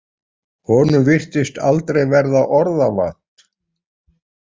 Honum virtist aldrei verða orða vant.